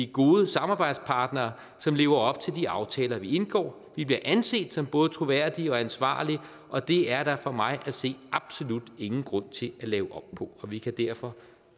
god samarbejdspartner som lever op til de aftaler vi indgår vi bliver anset som både troværdige og ansvarlige og det er der for mig at se absolut ingen grund til at lave om på vi kan derfor